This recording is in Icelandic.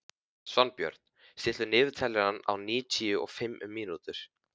Svanbjörn, stilltu niðurteljara á níutíu og fimm mínútur.